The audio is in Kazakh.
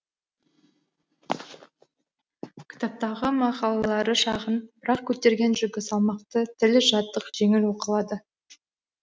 кітаптағы мақалалары шағын бірақ көтерген жүгі салмақты тілі жатық жеңіл оқылады